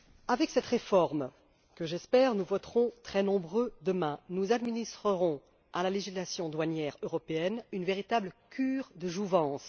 Avec cette réforme que, j'espère, nous voterons en très grand nombre demain, nous administrerons à la législation douanière européenne une véritable cure de jouvence.